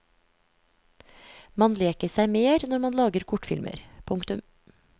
Man leker seg mer når man lager kortfilmer. punktum